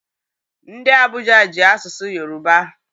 Ndị Abuja ji asụsụ Yoruba.